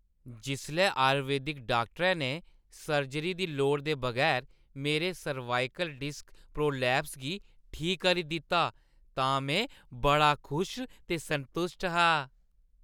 जिसलै आयुर्वेदिक डाक्टरै ने सर्जरी दी लोड़ा दे बगैर मेरे सर्वाइकल डिस्क प्रोलैप्स गी ठीक करी दित्ता तां में बड़ा खुश ते संतुश्ट हा।